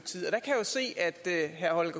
herre